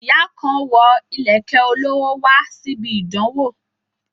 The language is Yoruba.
Ìyá kan wo ìlẹ̀kẹ̀ olówó ńlá wá síbi ìdánwó